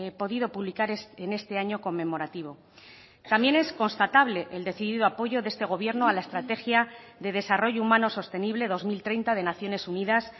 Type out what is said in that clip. podido publicar en este año conmemorativo también es constatable el decidido apoyo de este gobierno a la estrategia de desarrollo humano sostenible dos mil treinta de naciones unidas